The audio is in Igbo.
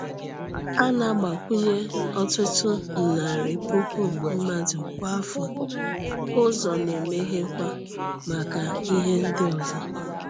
A na-agbakwụnye ọtụtụ narị puku mmadụ kwa afọ, ụzọ na-emeghekwa maka ihe ndị ọzọ.